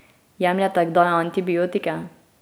Jemljete kdaj antibiotike?